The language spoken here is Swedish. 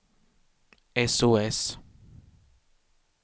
sos